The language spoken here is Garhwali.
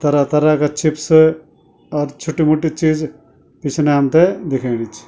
तरह तरह का चिप्स और छुट्टी मुट्टी चीज पिछनै हमथे दिखेणी च।